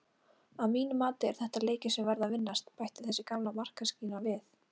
Að mínu mati eru þetta leikir sem verða að vinnast, bætti þessi gamla markamaskína við.